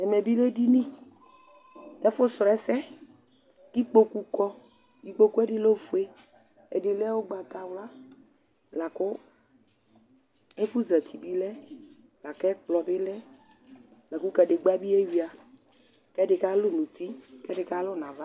ɛmɛ bi lɛ edini , ɛfu srɔ ɛsɛ ku ikpoku kɔ, ikpokue ɛdi lɛ ofue, ɛdi lɛ ugbata wla, la ku ɛfu zati bi lɛ, la ku ɛkplɔ bi lɛ, la ku kadegba bi ewʋia, ku ɛdi kalu nu uti, ku ɛdi kalu nu ava